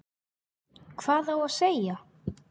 Hvað á að segja?